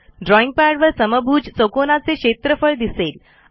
drawing पॅडवर समभुज चौकोनाचे क्षेत्रफळ दिसेल